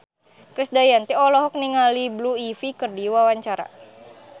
Krisdayanti olohok ningali Blue Ivy keur diwawancara